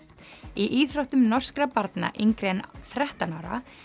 í íþróttum norskra barna yngri en þrettán ára